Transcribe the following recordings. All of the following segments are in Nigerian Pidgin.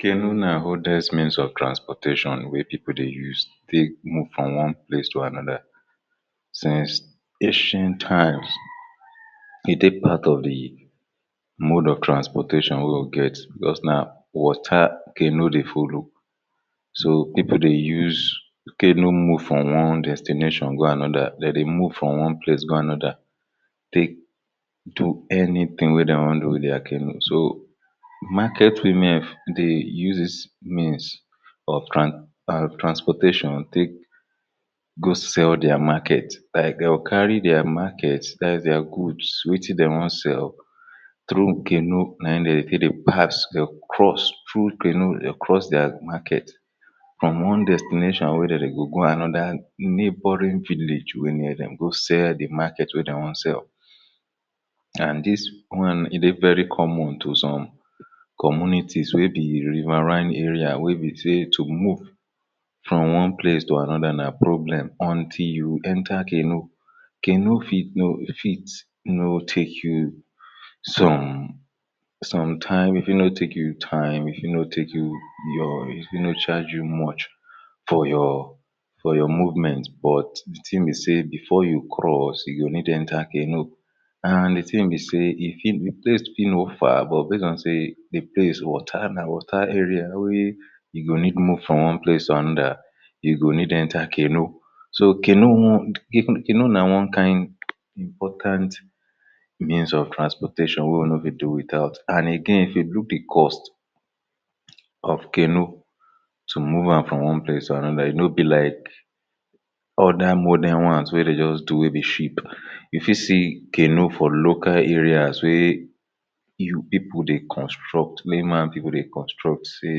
canoe na oldest means of transportation wey pipo dey use take move from one place to anoda since ancient times e dey part of di mode of transportation wey we get bicos na water canoe dey follow so, pipo dey use canoe move from one destination go anoda, dem dey move from one place go anoda take do anytin wey dem wan do with dia canoe so, market women dey use dis means of transportation take go sell dia market like dem go carry dia market dats dia goods wetin dem wan sell through canoe na im dem dey take dey pass dey go cross through canoe dem go cross dia market from one destination wey dem dey go, go anoda neboring village wey near dem go sell di market wey dem wan sell and dis one dey very common to some communities wey be riverine arears wey be say to move from one place to anoda na problem until you enter canoe canoe fit no fit no take you some some time e fit no take you time, e fit no take you your e fit no charge you much for your for your movment but di tin be say bifor you cross you go need enter canoe and di tin be say di place fit no far but base on say di place water, na water area wey you go need move from one place to anoda you go need enter canoe so, canoe wont you know canoe na wan kain important means of transportation wey we no fit do wit out and again if you look di cost of canoe to move am from one place to anoda e no be like oda modern ones wey dey just do wey be ship, you fit see canoe for local areas wey your pipo dey construct mey man pipo dey construct say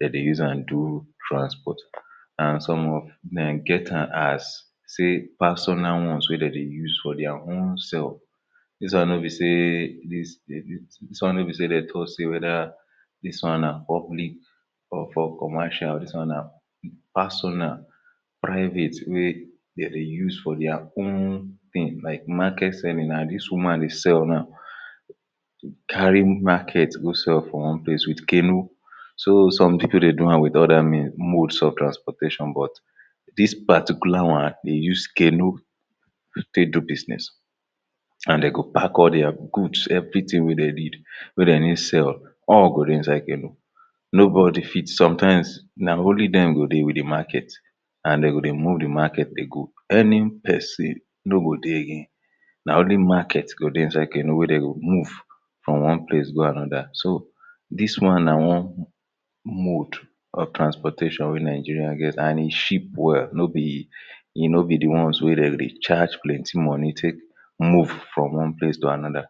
dem dey use am do transport and some of den get am as say persnal ones wey dem dey use for dia home sef dis one nobi dis, dis one nobi say dem tok say weda dis one na public or for commercial dis one na personal, private wey dey dey use for dia own tin like market serving, na dis woman dey sell now carry market go sell for one place wit canoe so, some pipo dey do am wit oda mode of transportation but, dis particular one dey use canoe take do business and dem go pack all dia goods evritin wey dem need wey dem need sell all go dey inside canoe nobody fit sometimes na only dem go dey wit di market and dem go dey move di market dey go any pesin no go dey again na only market go dey inside canoe wey dem go move from one place go anoda, so, dis one na one mode of transportation wey nigerians get and e cheap well no bi e no be di ones wey dem go dey charge plenty money take move from one place to anoda